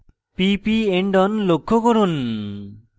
pp endon লক্ষ্য করুন